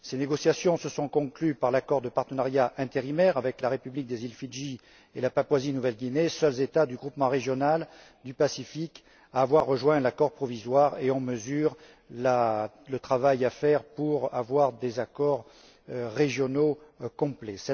Ces négociations se sont conclues par l'accord de partenariat intérimaire avec la République des îles Fidji et la Papouasie Nouvelle Guinée, seuls États du groupement régional du Pacifique à avoir rejoint l'accord provisoire, et on mesure le travail nécessaire pour conclure des accords régionaux complets.